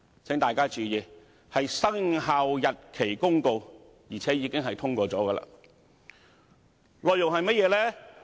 請大家注意，是《公告》，而且已獲通過，內容是甚麼？